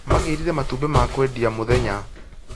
Magĩrire matũmbĩ ma kwendia mũthenya